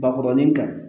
Bakɔrɔnin kan